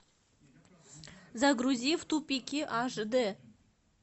загрузи в тупике аш дэ